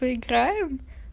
поиграем